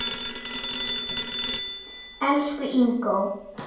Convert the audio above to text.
Elsku Ingó.